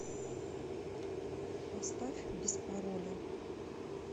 поставь без пароля